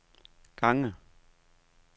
gange